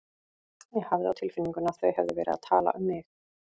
Ég hafði á tilfinningunni að þau hefðu verið að tala um mig.